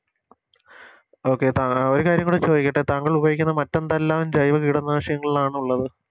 Okay താ അഹ് ഒരു കാര്യം കൂടെ ചോദിക്കട്ടെ താങ്കളുപയോഗിക്കുന്ന മറ്റെന്തെല്ലാം ജൈവ കീടനാശിനികളാണുള്ളത്